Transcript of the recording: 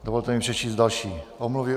Dovolte mi přečíst další omluvy.